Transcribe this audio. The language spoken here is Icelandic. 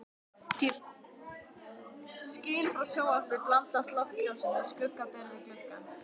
Skin frá sjónvarpi blandast loftljósinu, skugga ber við gluggann.